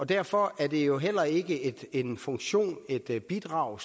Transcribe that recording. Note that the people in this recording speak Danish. derfor er det jo heller ikke en funktion eller et bidrag